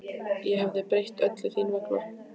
Ég hefði breytt öllu þín vegna.